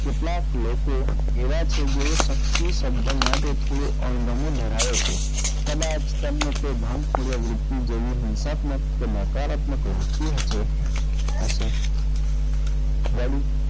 કેટલાક લોકો એવાં છે કે જે શક્તિ માટે થોડો અણગમો ધરાવે છે કદાચ તેમને તે ધ્યાનપૂર્વક રીતે જોયી હિંસાત્મક કે નકારાત્મક લાગતું હશે હશે વળી,